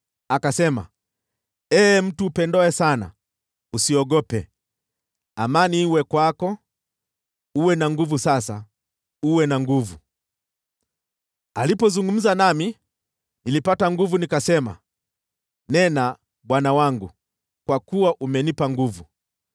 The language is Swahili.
Akasema, “Ee mtu upendwaye sana, usiogope. Amani iwe kwako! Uwe na nguvu sasa; jipe nguvu.” Alipozungumza nami, nilipata nguvu, nikasema, “Nena, bwana wangu, kwa kuwa umenipa nguvu.”